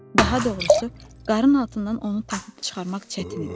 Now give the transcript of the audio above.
Daha doğrusu, qarın altından onu tapıb çıxarmaq çətin idi.